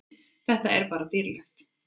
Þetta er bara dýrlegt.